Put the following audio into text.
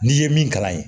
N'i ye min kalan yen